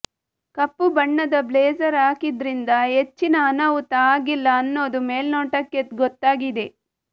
ಕಪ್ಪು ಬಣ್ಣದ ಬ್ಲೇಸರ್ ಹಾಕಿದ್ರಿಂದ ಹೆಚ್ಚಿನ ಅನಾಹುತ ಆಗಿಲ್ಲ ಅನ್ನೋದು ಮೇಲ್ನೋಟಕ್ಕೆ ಗೊತ್ತಾಗಿದೆ